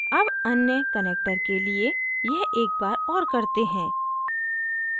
अब अन्य connector के लिए यह एक बार और करते हैं